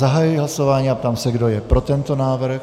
Zahajuji hlasování a ptám se, kdo je pro tento návrh.